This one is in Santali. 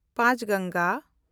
ᱯᱟᱸᱪᱜᱟᱝᱜᱟ